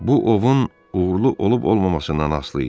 Bu ovun uğurlu olub-olmamasından asılı idi.